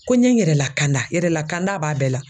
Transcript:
Ko n ye n yɛrɛ lakanda yɛrɛ lakanda b'a bɛɛ la.